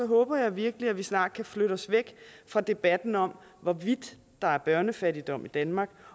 håber jeg virkelig at vi snart kan flytte os væk fra debatten om hvorvidt der er børnefattigdom i danmark